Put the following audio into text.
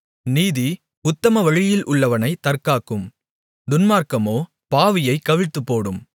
நீதி உத்தமவழியில் உள்ளவனைத் தற்காக்கும் துன்மார்க்கமோ பாவியைக் கவிழ்த்துப்போடும்